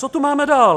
Co tu máme dál?